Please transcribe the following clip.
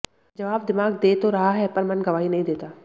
जवाब दिमाग दे तो रहा है पर मन गवाही नहीं देता